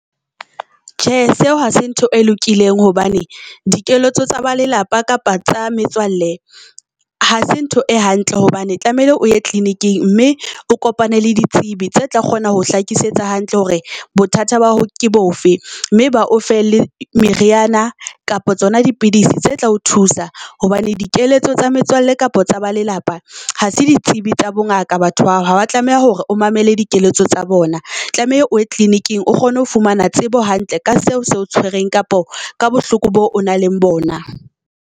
Tjhe, seo hase ntho e lokileng hobane dikeletso tsa ba lelapa kapa tsa metswalle hase ntho e hantle. Hobane tlamehile o ye clinic-eng mme o kopane le ditsebi tse tla kgona ho hlakisetsa hantle hore bothata ba hao ke bofe. Mme ba o fe le meriana kapa tsona dipidisi tse tla o thusa hobane dikeletso tsa metswalle kapa tsa ba lelapa ha se ditsibi tsa bo ngaka batho bao, ha wa tlameha hore o mamele dikeletso tsa bona. Tlameha o ye clinic-eng o kgone ho fumana tsebo hantle ka seo se o tshwereng kapa ka bohloko boo, o na le bona.